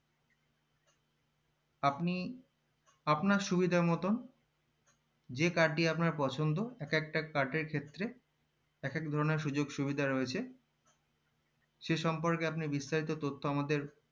আপনি আপনার সুবিধা মতন যে card টি আপনার পছন্দ এক একটা card এর ক্ষেত্রে এক একজনার সুযোগ সুবিধা রয়েছে সেসম্পর্কে আপনি বিস্তারিত তথ্যআমাদের